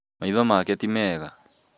Maitho make ti mega